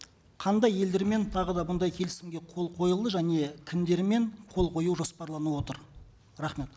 қандай елдермен тағы да бұндай келісімге қол қойылды және кімдермен қол қою жоспарланып отыр рахмет